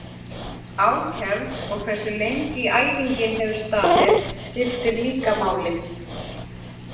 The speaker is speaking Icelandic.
Ákefð og hversu lengi æfingin hefur staðið skiptir líka máli.